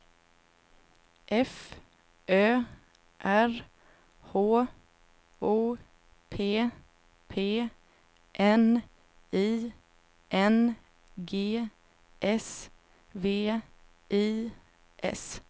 F Ö R H O P P N I N G S V I S